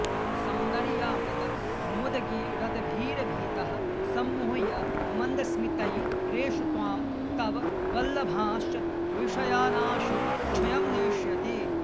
सौन्दर्यामृतमुद्गिरद्भिरभितः सम्मोह्य मन्दस्मितै रेष त्वां तव वल्लभांश्च विषयानाशु क्षयं नेष्यति